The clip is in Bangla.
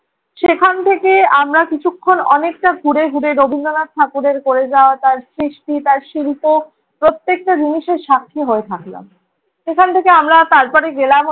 সেখান থেকে আমরা কিছুক্ষণ অনেকটা ঘুরে ঘুরে রবীন্দ্রনাথ ঠাকুরের করে যাওয়া তার সৃষ্টি, তার শিল্প প্রত্যেকটা জিনিসের সাক্ষী হয়ে থাকলাম। সেখান থেকে আমরা তারপরে গেলাম